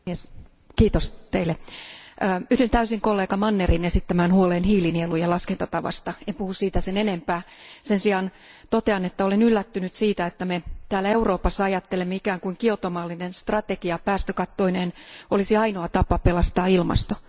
Arvoisa puhemies, yhdyn täysin kollega Mannerin esittämään huoleen hiilinielujen laskentatavasta. En puhu siitä sen enempää. Sen sijaan totean, että olen yllättynyt siitä, että me täällä Euroopassa ajattelemme ikään kuin Kioton mallinen strategia päästökattoineen olisi ainoa tapa pelastaa ilmasto.